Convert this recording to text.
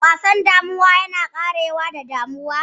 Wasan damuwa yana ƙarewa da damuwa.